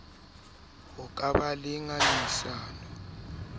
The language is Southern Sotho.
ho ka ba le ngangisano